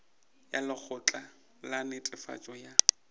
ya lekgotla la netefatšo ya